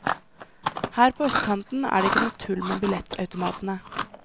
Her på østkanten er det ikke noe tull med billettautomatene.